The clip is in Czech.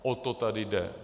O to tady jde.